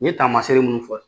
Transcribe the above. N ye taamasee minnu fɔ